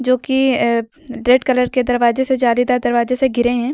क्योंकि अह red colour के दरवाजे से जालीदार दरवाजे से घिरे हैं।